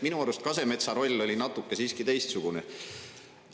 Minu arust Kasemetsa roll oli natuke teistsugune.